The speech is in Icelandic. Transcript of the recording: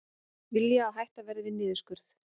Vilja að hætt verði við niðurskurð